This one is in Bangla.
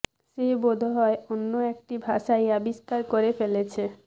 সে বোধ হয় অন্য একটি ভাষাই আবিষ্কার করে ফেলেছে